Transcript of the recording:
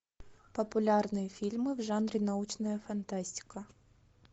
популярные фильмы в жанре научная фантастика